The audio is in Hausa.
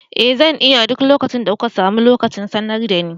Eh zan iya, duk lokacin da kuka samu lokaci sanar dani.